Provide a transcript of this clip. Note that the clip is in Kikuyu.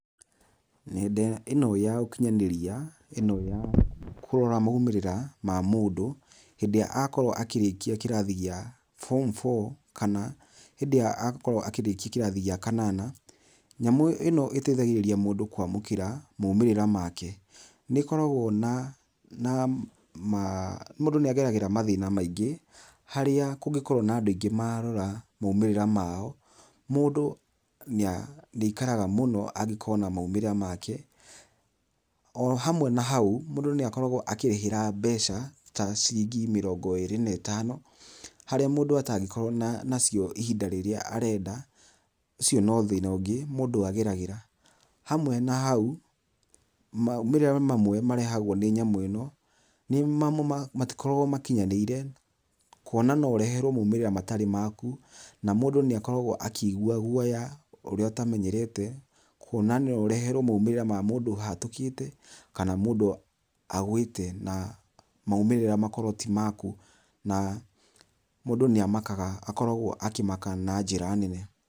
Nenda ĩno ya ũkinyanĩrĩa ĩno ya kũrora maũmĩrĩra ma mũndũ hĩndĩ ĩrĩa akorwo akĩrĩkia kĩrathi gĩa form 4 kana hĩndĩ ĩrĩa agakorwo akĩrĩkia kĩrathi kĩa kanana, nyamũ ĩno ĩtethagĩrĩria mũndũ kwamũkĩra maũmĩrĩra make, nĩgũkoragwa na mũndũ nĩageragĩra mathĩna maingĩ harĩa kũngĩkorwa na andũ aingĩ marora maũmĩrĩra mao mũndũ nĩikaragua mũno agĩkona mũmĩrĩra make ohamwe na hau mũndũ nĩakoragwo akĩrĩhĩha mbeca ta ciringi mĩrongo ĩrĩ na ĩtano harĩa mũndũ atangĩkorwo na cio ihinda rĩrĩa arenda ũcio no thĩna ũngĩ mũndũ ageragĩra hamwe na hau maũmĩrĩra mamwe marehagwo nĩ nyamũ ĩno nĩ mamwe matikoragwo makinyanĩire kwona no ũreherwo maũmĩrĩra matarĩ maku na mũndũ nĩ akoragwo akigua gũoya ũrĩa ũtamenyerete kwona no ũreherwe maũmĩrĩra ma mũndũ ahatũkĩte kana mũndũ agwĩte na maũmĩrĩra makorwo ti maku na mũndũ nĩ amakaga akoragwa akĩmaka na njĩra nene.